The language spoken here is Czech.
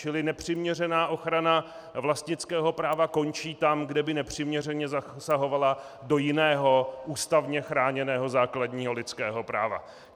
Čili nepřiměřená ochrana vlastnického práva končí tam, kde by nepřiměřeně zasahovala do jiného ústavně chráněného základního lidského práva.